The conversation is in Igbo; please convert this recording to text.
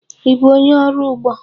Ị bụ onye ọrụ ugbo?